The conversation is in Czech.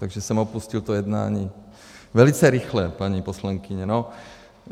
Takže jsem opustil to jednání velice rychle, paní poslankyně.